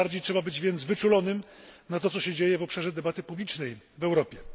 Tym bardziej więc trzeba być wyczulonym na to, co się dzieje w obszarze debaty publicznej w Europie.